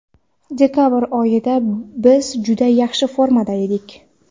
Dekabr oyida biz juda yaxshi formada edik.